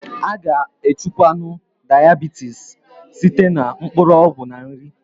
A ga echukwanwu Diabitis site na mkpụrụ ọgwụ na nri